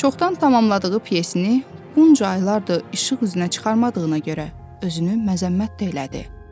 Çoxdan tamamladığı pyesini bunca illərdir işıq üzünə çıxarmadığına görə özünü məzəmmət də elədi.